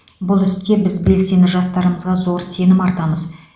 бұл істе біз белсенді жастарымызға зор сенім артамыз